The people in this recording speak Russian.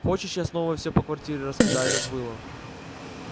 хочешь я снова все по квартире раскидаю как было